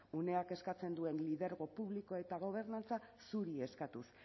uneak eskatzen duen lidergo publikoa eta gobernantza zuri eskatuz